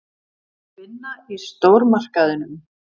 Vinna í stórmarkaðinum.